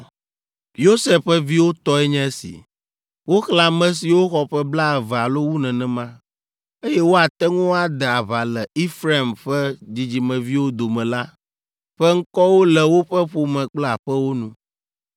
Yosef ƒe viwo tɔe nye esi: Woxlẽ ame siwo xɔ ƒe blaeve alo wu nenema, eye woate ŋu ade aʋa le Efraim ƒe dzidzimeviwo dome la ƒe ŋkɔwo le woƒe ƒome kple aƒewo nu.